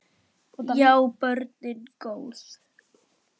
Já, börnin góð.